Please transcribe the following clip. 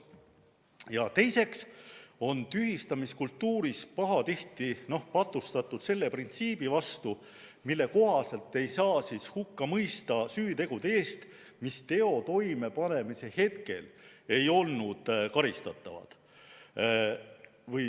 Ja teiseks on tühistamiskultuuris pahatihti patustatud selle printsiibi vastu, mille kohaselt ei saa hukka mõista süütegude eest, mis teo toimepanemise hetkel ei olnud karistatavad.